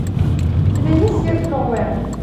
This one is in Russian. у тебя есть сверхновая